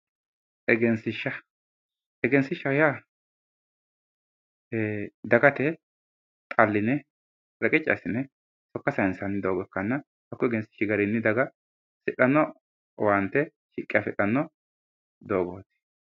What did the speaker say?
egensiishsha egensiishshaho yaa dagate xalline reqecci assine sokka sayiinsanniha ikkanna konni egensiishshi garinni daga hasidhanno owaante shiqqi assitanno dogooti